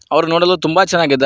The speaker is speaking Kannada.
ಅವರು ನೋಡಲು ತುಂಬ ಚೆನ್ನಾಗಿ ಇದ್ದಾರೆ.